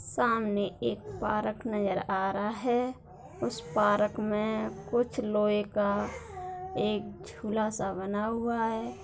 सामने एक पार्क नज़र आ रहा हैं उस पार्क में कुछ लोहे का एक झूला सा बना हुआ है